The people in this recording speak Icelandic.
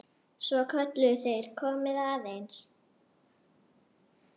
Svo kölluðu þeir: Komiði aðeins!